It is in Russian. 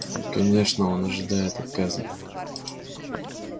конечно он ожидает отказа